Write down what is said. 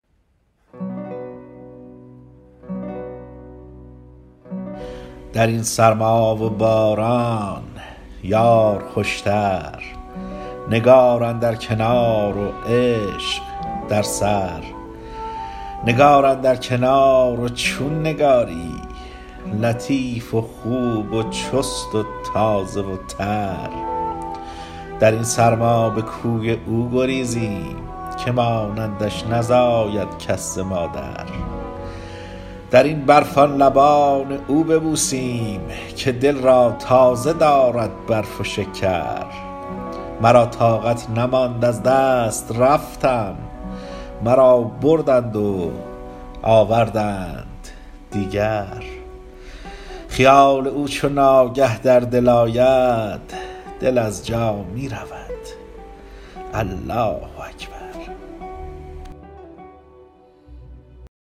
در این سرما و باران یار خوشتر نگار اندر کنار و عشق در سر نگار اندر کنار و چون نگاری لطیف و خوب و چست و تازه و تر در این سرما به کوی او گریزیم که مانندش نزاید کس ز مادر در این برف آن لبان او ببوسیم که دل را تازه دارد برف و شکر مرا طاقت نماند از دست رفتم مرا بردند و آوردند دیگر خیال او چو ناگه در دل آید دل از جا می رود الله اکبر